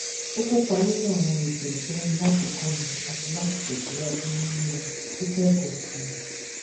ó kópa nínú àwọn ètò ìtọni láti kọni àti láti tẹsíwájú nínu kíkọ ẹkọ sí i